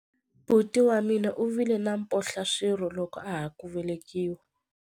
Buti wa mina u vile na mphohlaswirho loko a ha ku velekiwa.